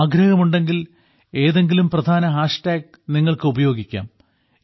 ആഗ്രഹമുണ്ടെങ്കിൽ ഏതെങ്കിലും പ്രധാന ഹാഷ് ടാഗ് നിങ്ങൾക്ക് ഉപയോഗിക്കാം